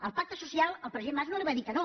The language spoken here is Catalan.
al pacte social el president mas no li va dir que no